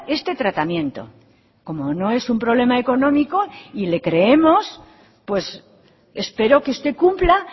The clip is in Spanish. este tratamiento como no es un problema económico y le creemos pues espero que usted cumpla